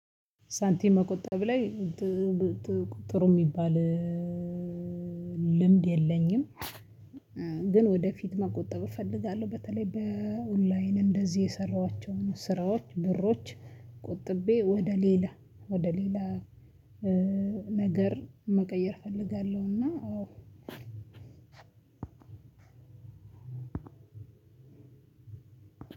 ሳንቲም መቆጠብ ላይ ጥሩ ሚባል ልምድ የለኝም። ግን ወደፊት መቆጠብ እፈልጋለሁ በተለይ እንደዚ በጣም ኦንላይን የሰራሁአቸውን ስራዎች ብሮች ቆጥቤ ወደሊላ ወደሊላ ነገር መቀየር እፈልጋለሁ እና